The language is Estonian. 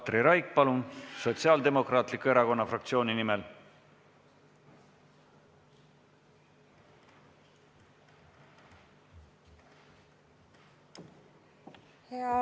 Katri Raik, palun, Sotsiaaldemokraatliku Erakonna fraktsiooni nimel!